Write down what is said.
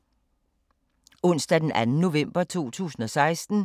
Onsdag d. 2. november 2016